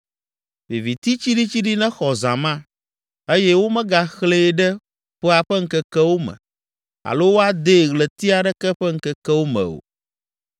Viviti tsiɖitsiɖi nexɔ zã ma eye womegaxlẽe ɖe ƒea ƒe ŋkekewo me alo woadee ɣleti aɖeke ƒe ŋkekewo me o.